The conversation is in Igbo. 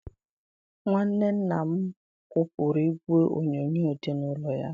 Nwanne nna m kwụpụrụ igwe onyonyo dị n'ụlọ ya.